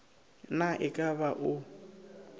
na e ka ba o